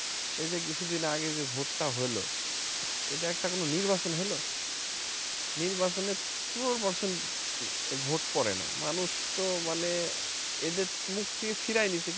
এ যে কিছু দিন আগে যে vote টা হলো এটা একটা কোন নির্বাচন হলো নির্বাচনে পনের percent vote পরে না মানুষ তো মানে এদের মুখ থেকে ফিরাই নিছে